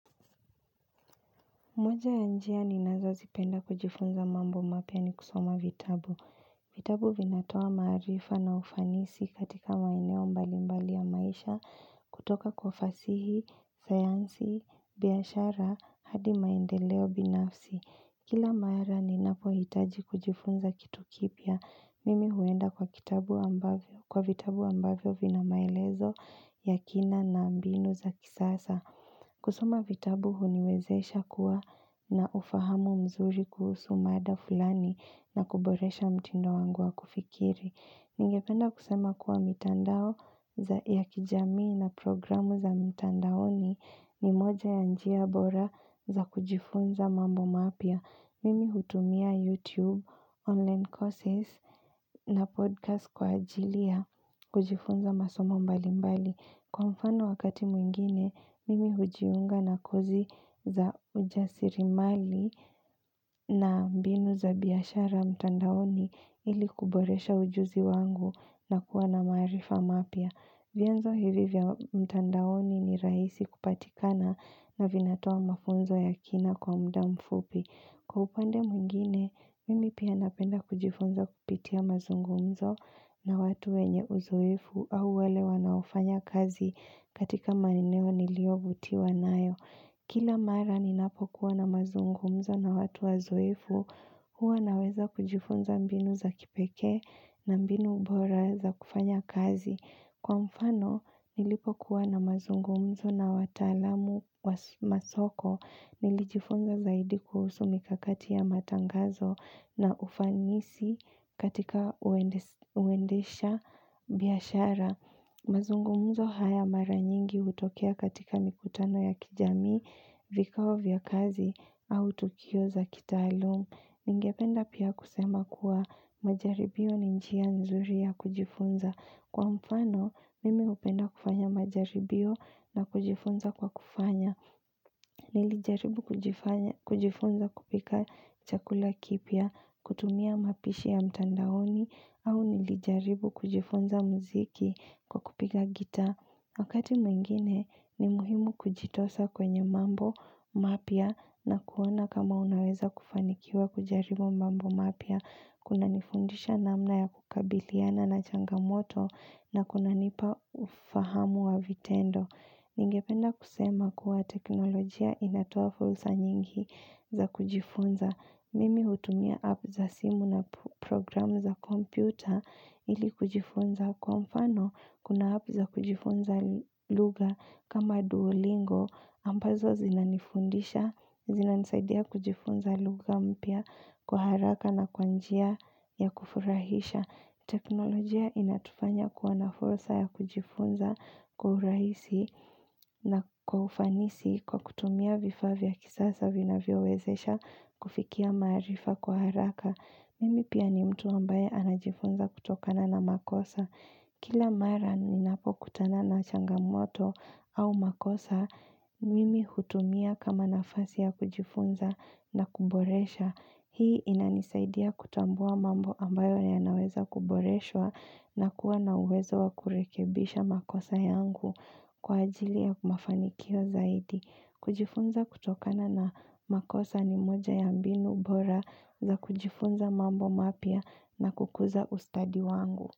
Moja ya njia ninazozipenda kujifunza mambo mapya ni kusoma vitabu. Vitabu vinatoa maarifa na ufanisi katika maeneo mbalimbali ya maisha, kutoka kwa fasihi, sayansi, biashara, hadi maendeleo binafsi. Kila mara ninapohitaji kujifunza kitu kipya, mimi huenda kwa vitabu ambavyo, kwa vitabu ambavyo vina maelezo ya kina na mbinu za kisasa. Kusoma vitabu huniwezesha kuwa na ufahamu mzuri kuhusu mada fulani na kuboresha mtindo wangu wa kufikiri. Ningependa kusoma kwa mitandao ya kijamii na programu za mitandaoni ni moja ya njia bora za kujifunza mambo mapya. Mimi hutumia YouTube, online courses na podcast kwa ajilia kujifunza masomo mbalimbali. Kwa mfano wakati mwingine, mimi hujiunga na kozi za ujasiriamali na mbinu za biashara mtandaoni ili kuboresha ujuzi wangu na kuwa na maarifa mapya. Vyanzo hivi vya mtandaoni ni rahisi kupatikana na vinatoa mafunzo ya kina kwa muda mfupi. Kwa upande mwingine, mimi pia napenda kujifunza kupitia mazungumzo na watu wenye uzoefu au wale wanaofanya kazi katika maeneo niliyovutiwa nayo. Kila mara ninapokuwa na mazungumzo na watu wazoefu, huwa naweza kujifunza mbinu za kipekee na mbinu bora za kufanya kazi. Kwa mfano, nilipokuwa na mazungumzo na wataalamu wa masoko nilijifunza zaidi kuhusu mikakati ya matangazo na ufanisi katika uendesha biashara. Mazungumzo haya mara nyingi hutokea katika mikutano ya kijamii, vikao vya kazi au tukio za kitaaluma. Ningependa pia kusema kuwa majaribio ni njia nzuri ya kujifunza. Kwa mfano, mimi hupenda kufanya majaribio na kujifunza kwa kufanya. Nilijaribu kujifunza kupika chakula kipya, kutumia mapishi ya mtandaoni, au nilijaribu kujifunza muziki kwa kupiga gita. Wakati mwingine ni muhimu kujitosa kwenye mambo mapya na kuona kama unaweza kufanikiwa kujaribu mambo mapya. Kunanifundisha namna ya kukabiliana na changamoto na kuna nipa ufahamu wa vitendo. Ningependa kusema kuwa teknolojia inatoa fursa nyingi za kujifunza. Mimi hutumia app za simu na program za kompyuta ili kujifunza kwa mfano. Kuna app za kujifunza lugha kama duolingo ambazo zinanifundisha, zinanisaidia kujifunza lugha mpya kwa haraka na kwa njia ya kufurahisha. Teknolojia inatufanya kuwa na fursa ya kujifunza kiurahisi na kwa ufanisi kwa kutumia vifaa vya kisasa vinavyowezesha kufikia maarifa kwa haraka. Mimi pia ni mtu ambaye najifunza kutokana na makosa. Kila mara ninapokutana na changamoto au makosa, mimi hutumia kama nafasi ya kujifunza na kuboresha. Hii inanisaidia kutambua mambo ambayo yanaweza kuboreshwa na kuwa na uwezo wa kurekebisha makosa yangu kwa ajili ya mafanikio zaidi. Kujifunza kutokana na makosa ni moja ya mbinu bora za kujifunza mambo mapya na kukuza ustadi wangu.